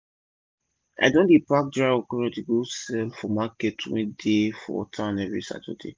i don dey pack dry okro go sell for market wey dey for town everi saturday